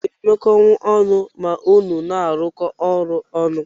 Iga emekọnwu ọnụ ma unu na arụkọ ọrụ ọnụ?